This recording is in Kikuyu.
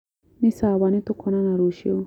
Nĩ sawa nĩtũkona rũciũ